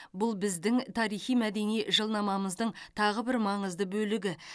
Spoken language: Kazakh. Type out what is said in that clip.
бұл біздің тарихи мәдени жылнамамыздың тағы бір маңызды бөлігі